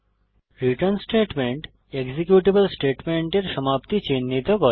return statement executable স্টেটমেন্টের সমাপ্তি চিনহিত করে